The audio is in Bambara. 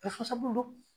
Bɛɛ fasabulu